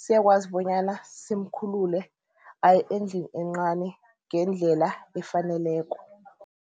siyakwazi bonyana simkhulule aye endlini encani ngendlela efaneleko.